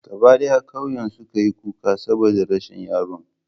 Gaba d'aya k'auyen su ka yi kuka saboda rashin yaron.